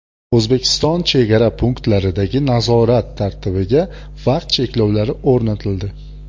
O‘zbekiston chegara punktlaridagi nazorat tartibiga vaqt cheklovlari o‘rnatildi.